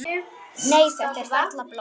Nei, þetta er varla blóð.